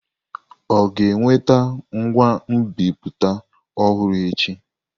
Ọ ga-eweta ngwa nbipute ọhụrụ echi?